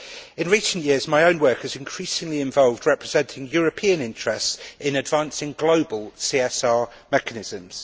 In recent years, my own work has increasingly involved representing European interests in advancing global CSR mechanisms.